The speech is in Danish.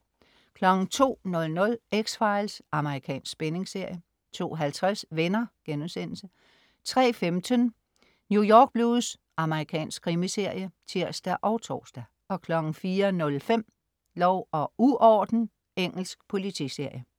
02.00 X-Files. Amerikansk spændingsserie 02.50 Venner* 03.15 New York Blues. Amerikansk krimiserie (tirs og tors) 04.05 Lov og uorden. Engelsk politiserie